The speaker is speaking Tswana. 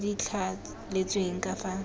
tse di thaletsweng ka fa